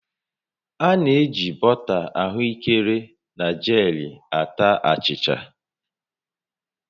A na-eji bọta ahụekere na jelii ata achịcha